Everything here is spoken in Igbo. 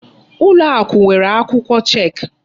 Ụlọakụ nwèrè akwụkwọ chek.